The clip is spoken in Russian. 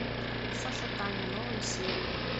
саша таня новые серии